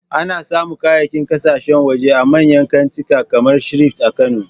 Ana samun kayayyakin kasashen waje a manyan kantika kamar Shafrit a Kano